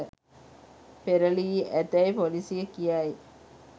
පෙරළී ඇතැයි පොලීසිය කියයි